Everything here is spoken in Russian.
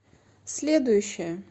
следующая